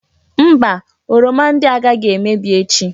Mba! Oroma ndị a agaghị emebi echi.